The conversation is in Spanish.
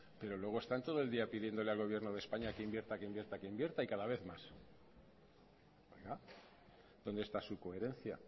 pero luego están todo el día pidiéndole al gobierno de españa que invierta que invierta que invierta y cada vez más dónde está su coherencia